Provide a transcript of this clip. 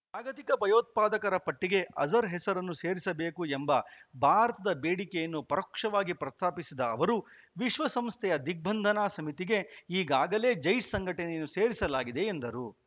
ಜಾಗತಿಕ ಭಯೋತ್ಪಾದಕರ ಪಟ್ಟಿಗೆ ಅಜರ್‌ ಹೆಸರನ್ನು ಸೇರಿಸಬೇಕು ಎಂಬ ಭಾರತದ ಬೇಡಿಕೆಯನ್ನು ಪರೋಕ್ಷವಾಗಿ ಪ್ರಸ್ತಾಪಿಸಿದ ಅವರು ವಿಶ್ವಸಂಸ್ಥೆಯ ದಿಗ್ಬಂಧನ ಸಮಿತಿಗೆ ಈಗಾಗಲೇ ಜೈಷ್‌ ಸಂಘಟನೆಯನ್ನು ಸೇರಿಸಲಾಗಿದೆ ಎಂದರು